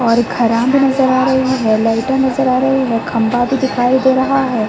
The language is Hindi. और नज़र आ रही है। लाइटे नज़र आ रही हैं। खंभा भी दिखाई दे रहा है।